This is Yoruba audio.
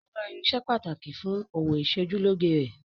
Ó Ra irinṣẹ́ pàtàkì fún òwò ìsojúlóge rẹ̀.